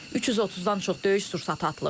330-dan çox döyüş sursatı atılıb.